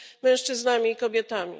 mężczyznami i kobietami.